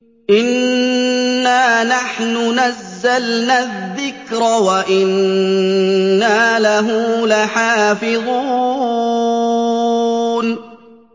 إِنَّا نَحْنُ نَزَّلْنَا الذِّكْرَ وَإِنَّا لَهُ لَحَافِظُونَ